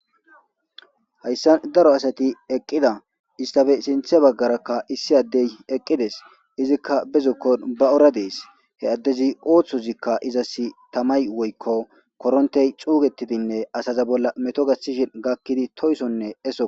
hayssa daro asati eqqida istafe sinthe baggarakka issi addey eqqides izikka bezukkon ba ora dees he addezi ooththozikka izas tamay woykko korontey cuugetidinne asaza bolla meto gasishin gakkidi toysonne eso